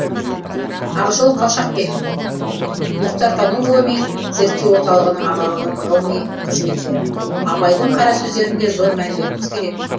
ақжол қалшабек мұхтартану ғылыми зерттеу орталығының аға ғылыми қызметкері абайдың қара сөздеріне зор мән беруіміз керек